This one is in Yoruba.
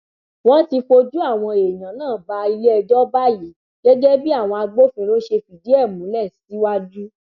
wọn ti fojú àwọn èèyàn náà bá iléẹjọ báyìí gẹgẹ bí àwọn agbófinró ṣe fìdí ẹ múlẹ síwájú